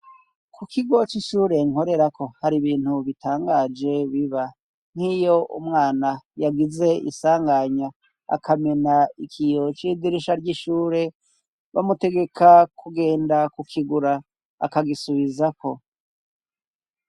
Ku kigo c'ishure nkorerako hari ibintu bitangaje biba nk'iyo umwana yagize isanganya akamena ikiyo c'idirisha ry'ishure bamutegeka kugenda kukigura akagisubizako.